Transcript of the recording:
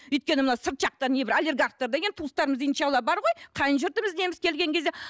өйткені мына сырт жақта небір олигарх деген туыстарымыз ин ша алла бар ғой қайын жұртымыз келген кезде